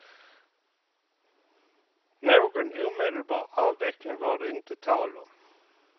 Någon omedelbar avveckling var det inte tal om.